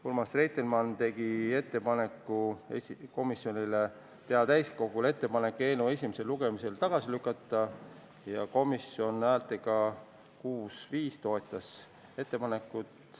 Urmas Reitelmann tegi ettepaneku teha täiskogule ettepanek eelnõu esimesel lugemisel tagasi lükata ja komisjon häältega 6 : 5 toetas seda.